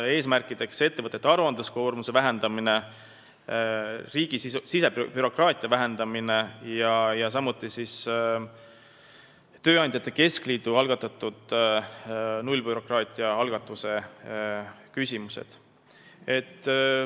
Eesmärk on olnud ettevõtete aruandluskoormuse ja riigi sisebürokraatia vähendamine, samuti on päevakorral küsimused, mis on seotud tööandjate keskliidu algatatud nullbürokraatia juurutamisega.